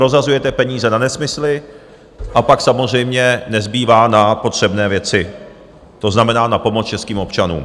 Rozhazujete peníze na nesmysly, a pak samozřejmě nezbývá na potřebné věci, to znamená na pomoc českým občanům.